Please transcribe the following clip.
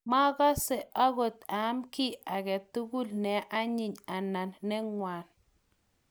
makase akot aam kiy age tugul ne anyiny anan ne ngawn